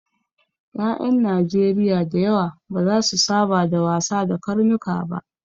Ƴaƴan Najeriya da yawa ba za su saba da wasa da karnuka ba.